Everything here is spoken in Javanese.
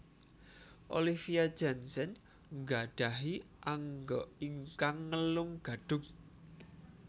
Olivia Jensen nggadhahi angga ingkang ngelung gadhung